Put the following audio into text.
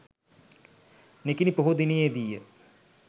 නිකිණි පොහෝ දිනයේ දී ය.